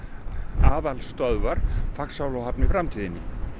aðalstöðvar Faxaflóahafna í framtíðinni